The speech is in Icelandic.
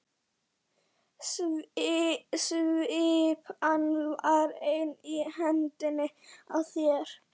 Svipan var enn í hendinni á þér.